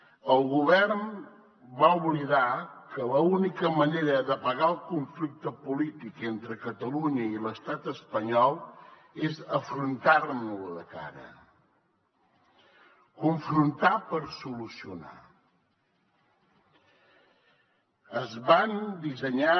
el govern va oblidar que l’única manera d’apagar el conflicte polític entre catalunya i l’estat espanyol és afrontant lo de cara confrontar per solucionar